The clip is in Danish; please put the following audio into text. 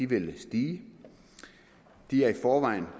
vil stige de er i forvejen